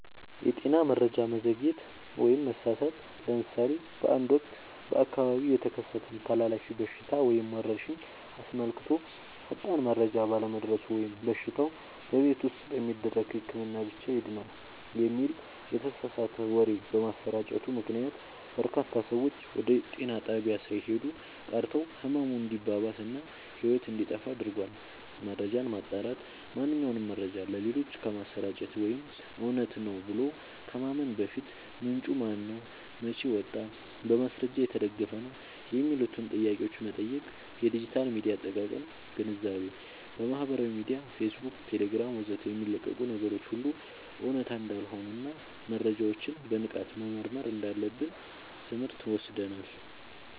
የጤና መረጃ መዘግየት/መሳሳት፦ ለምሳሌ በአንድ ወቅት በአካባቢው የተከሰተን ተላላፊ በሽታ ወይም ወረርሽኝ አስመልክቶ ፈጣን መረጃ ባለመድረሱ ወይም በሽታው "በቤት ውስጥ በሚደረግ ህክምና ብቻ ይድናል" የሚል የተሳሳተ ወሬ በመሰራጨቱ ምክንያት፣ በርካታ ሰዎች ወደ ጤና ጣቢያ ሳይሄዱ ቀርተው ህመሙ እንዲባባስ እና ህይወት እንዲጠፋ አድርጓል። መረጃን ማጣራት፦ ማንኛውንም መረጃ ለሌሎች ከማሰራጨት ወይም እውነት ነው ብሎ ከማመን በፊት፣ "ምንጩ ማነው? መቼ ወጣ? በማስረጃ የተደገፈ ነው?" የሚሉትን ጥያቄዎች መጠየቅ። የዲጂታል ሚዲያ አጠቃቀም ግንዛቤ፦ በማህበራዊ ሚዲያ (ፌስቡክ፣ ቴሌግራም ወዘተ) የሚለቀቁ ነገሮች ሁሉ እውነት እንዳልሆኑና መረጃዎችን በንቃት መመርመር እንዳለብን ትምህርት ወስደናል።